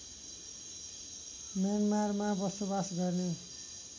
म्यानमारमा बसोबास गर्ने